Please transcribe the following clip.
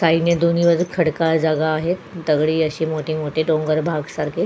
काहींनी दोन्ही बाजूक खडकाळ जागा आहे दगडी अशी मोठी मोठी डोंगर भाग सारखी.